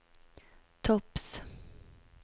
topps